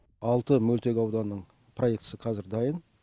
алты мөлтек ауданның проектісі қазір дайын